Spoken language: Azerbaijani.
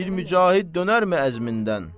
Bir mücahid dönərmi əzmindən?